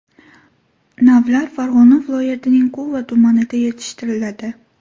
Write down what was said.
Navlar Farg‘ona viloyatining Quva tumanida yetishtiriladi.